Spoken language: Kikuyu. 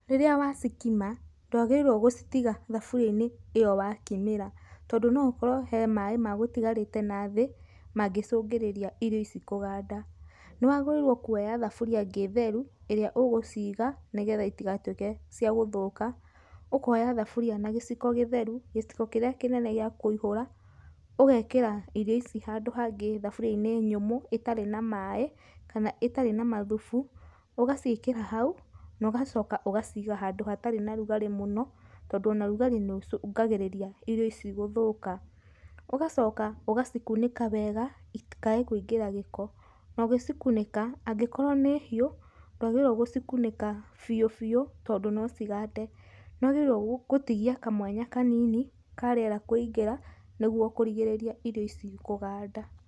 Rĩrĩa wa cikima, ndwagĩrĩirwo gũcitiga thaburia-inĩ ĩyo wakimĩra, tondũ nokoro he maaĩ magũtigarĩte nathĩ mangĩcũngĩrĩria irio ici kũganda. Nĩwagĩrĩirwo kuoya thaburia ĩngĩ theru ĩrĩa ũgũciga nĩgetha itigatuĩke cia gũthũka. Ũkoya thaburia na gĩciko gĩtheru, gĩciko kĩrĩa kĩnene gĩa kũihũra ũgekĩra irio ici handũ hangĩ thaburia-inĩ nyũmũ ĩtarĩ na maaĩ kana ĩtarĩ na mathubu, ũgacikĩra hau, nogacoka ũgaciga handũ hatarĩ na rugarĩmũno tondũ ona rugarĩ nĩũcũngagĩrĩria irio ici guthũka. Ũgacoka ũgacikunĩka wega itikage kũingĩra gĩko, nogĩcikunĩka, angĩkorwo nĩ hiũ ndwagĩrĩirwo gũcikunĩka biũ biũ tondũ nocigande. Nĩwagĩrĩirwo gũtigia kamwanya kanini ka rĩera kũingĩra nĩgwo kũrigĩrĩria ĩrio ici kũganda.